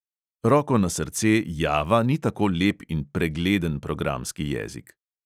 Roko na srce java ni tako lep in pregleden programski jezik.